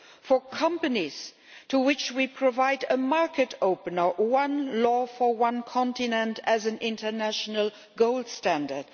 for companies, to which we provide a market opener one law for one continent as an international gold standard